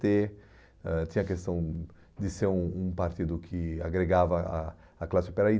Ter ãh tinha a questão de ser um um partido que agregava a a classe